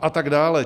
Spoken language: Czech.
A tak dále.